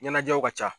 Ɲɛnajɛw ka ca